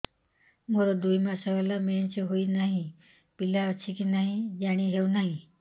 ମୋର ଦୁଇ ମାସ ହେଲା ମେନ୍ସେସ ହୋଇ ନାହିଁ ପିଲା ଅଛି କି ନାହିଁ ଜାଣି ହେଉନି